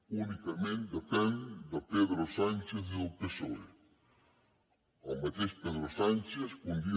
únicament depèn de pedro sánchez i del psoe el mateix pedro sánchez que un dia